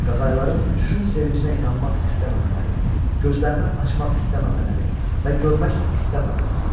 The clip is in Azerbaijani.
qağayların uçuşun sevincinə inanmaq istəməmələri, gözlərini açmaq istəməmələri və görmək istəməmələri idi.